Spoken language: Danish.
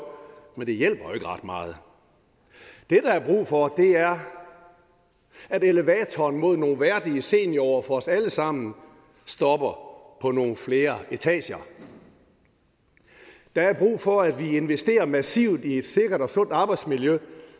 men det hjælper jo ikke ret meget det der er brug for er at elevatoren mod nogle værdige seniorår for os alle sammen stopper på nogle flere etager der er brug for at vi investerer massivt i et sikkert og sundt arbejdsmiljø